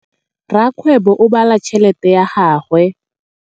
Rakgwêbô o bala tšheletê ya gagwe.